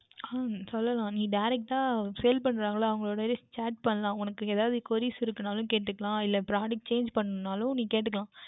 உம் சொல்லலாம் நீ Direct டாக Sale பண்ணுகின்றார்கள அவர்களிடமே Chat பண்ணலாம் உனக்கு எதாவுது Queries இருக்கின்றது என்றாலும் கேட்டுக்கொள்ளலாம் இல்லை Products Change பன்னவேண்டும் என்றாலும் நீ கேட்டுக்கொள்ளலாம்